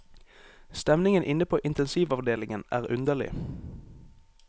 Stemningen inne på intensivavdelingen er underlig.